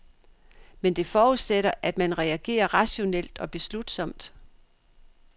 Men det forudsætter, at man reagerer rationelt og beslutsomt.